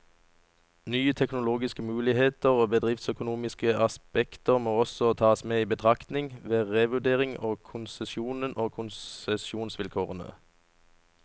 Nye teknologiske muligheter og bedriftsøkonomiske aspekter må også tas med i betraktningen, ved revurdering av konsesjonen og konsesjonsvilkårene.